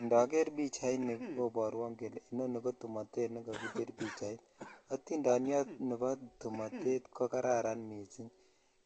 Indoger pichaini koborwon kole inoni ko tumotet nekokibir pichait , atindonyot nebo tuguchu tumotet ko kararan missing